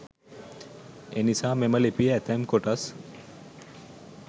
එනිසා මෙම ලිපියේ ඇතැම් කොටස්